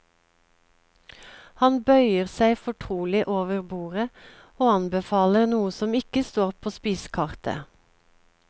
Han bøyer seg fortrolig over bordet og anbefaler noe som ikke står på spisekartet.